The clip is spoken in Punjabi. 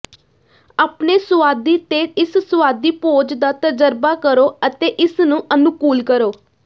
ਆਪਣੇ ਸੁਆਦੀ ਤੇ ਇਸ ਸੁਆਦੀ ਭੋਜ ਦਾ ਤਜ਼ਰਬਾ ਕਰੋ ਅਤੇ ਇਸ ਨੂੰ ਅਨੁਕੂਲ ਕਰੋ